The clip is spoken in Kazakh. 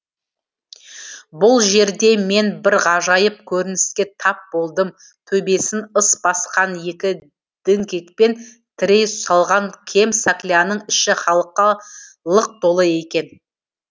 бұл жерде мен бір ғажайып көрініске тап болдым төбесін ыс басқан екі діңгекпен тірей салған кем сакляның іші халыққа лық толы екен